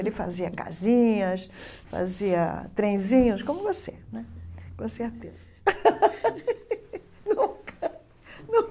Ele fazia casinhas, fazia trenzinhos, como você né, com certeza nunca